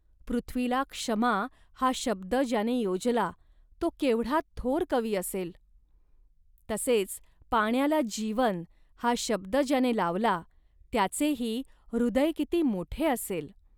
पृथ्वीला 'क्षमा' हा शब्द ज्याने योजला, तो केवढा थोर कवी असेल. तसेच पाण्याला 'जीवन' हा शब्द ज्याने लावला, त्याचेही हृदय किती मोठे असेल